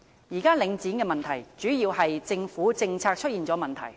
現時領展的問題，主要是政府政策出現問題。